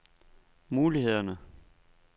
mulighederne